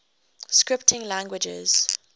scripting languages